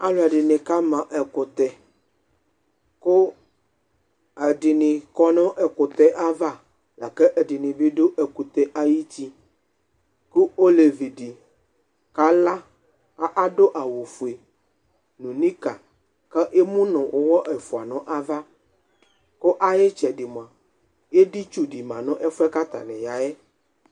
Alʋɛdɩnɩ kama ɛkʋtɛ kʋ ɛdini kɔ nʋ ɛkʋtɛ yɛ ava lakʋ ɛdɩnɩ bɩ dʋ ɛkʋtɛ yɛ ayuti kʋ olevidɩ kala kʋ adʋ awʋ fue nʋ nicker kʋ emu nʋ ʋwɔ ɛfua n'avs kʋ ayʋ ɩtsɛdɩ mua editsudɩ ma nʋ ɛfʋ yɛ katanɩ yayɛ